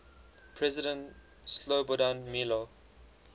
president slobodan milo